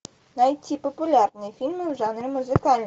найти популярные фильмы в жанре музыкальный